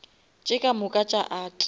tše ka moka tša art